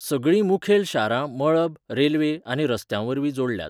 सगळीं मुखेल शारां मळब, रेल्वे, आनी रस्त्यावरवीं जोडल्यांत.